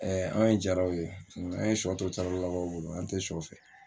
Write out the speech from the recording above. an ye jaraw ye an ye suyɔ to tarawereraka bolo an tɛ suyɔ fɛ.